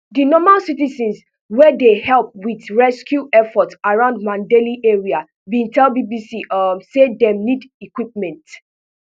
di normal citizens wey dey help wit rescue efforts around mandalay area bin tell bbc um say dem need equipment